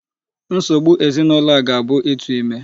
Nsogbu ezinụlọ a gá-abụ ịtụ ime.